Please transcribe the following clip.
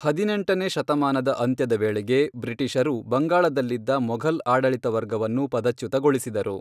ಹದಿನೆಂಟನೇ ಶತಮಾನದ ಅಂತ್ಯದ ವೇಳೆಗೆ, ಬ್ರಿಟಿಷರು ಬಂಗಾಳದಲ್ಲಿದ್ದ ಮೊಘಲ್ ಆಡಳಿತ ವರ್ಗವನ್ನು ಪದಚ್ಯುತಗೊಳಿಸಿದರು.